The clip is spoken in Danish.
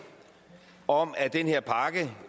om at den her pakke